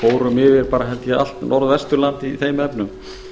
fórum yfir held ég bara allt norðvesturland í þeim efnum